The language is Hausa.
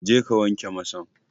Jeka ka wanke masan!